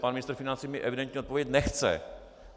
Pan ministr financí mi evidentně odpovědět nechce.